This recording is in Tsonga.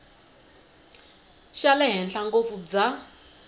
xa le henhla ngopfu bya